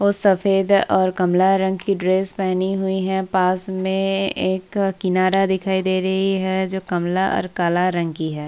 और सफेद और कमला रंग की ड्रेस पहनी हुई है पास में एक किनारा दिखाई दे रही है जो कमला और काला रंग की है।